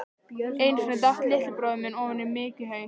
Einu sinni datt litli bróðir minn ofan í mykjuhaug.